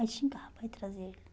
Aí xingava para ir trazer ele.